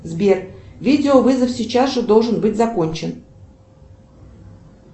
сбер видеовызов сейчас же должен быть закончен